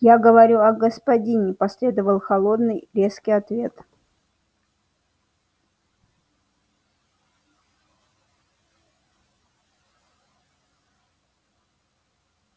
я говорю о господине последовал холодный резкий ответ